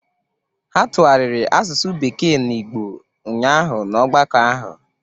Ha tụgharịrị asụsụ bekee na Igbo ụnyahụ na ọgbakọ ahụ